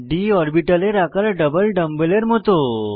d অরবিটালের আকার double ডাম্বেলের মত হয়